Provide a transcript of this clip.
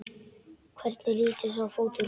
Hvernig lítur sá fótur út?